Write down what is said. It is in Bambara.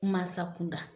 Mansa kunda